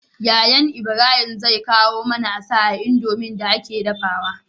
Yayan Ibrahim zai kawo nama asa a indomie da ake dafawa